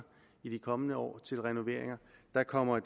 i de kommende år til renoveringer der kommer